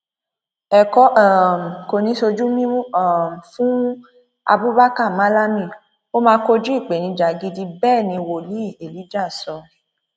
ẹkọ um kò ní í sojú mímu um fún abubakar malami o ó máa kojú ìpèníjà gidi bẹẹ ni wòlíì elijah sọ